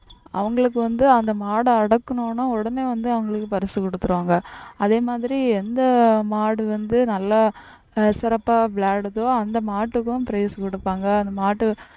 அவங்களுக்கு வந்து அந்த மாடு அடக்குனோம்னா உடனே வந்து அவங்களுக்கு பரிசு கொடுத்திருவாங்க அதே மாதிரி எந்த மாடு வந்து நல்லா அஹ் சிறப்பா விளையாடுதோ அந்த மாட்டுக்கும் prize கொடுப்பாங்க அந்த மாட்டை